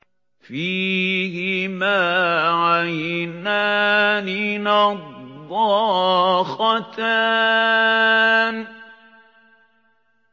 فِيهِمَا عَيْنَانِ نَضَّاخَتَانِ